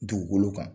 Dugukolo kan